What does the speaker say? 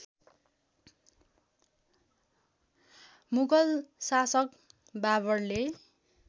मुगल शासक बाबरले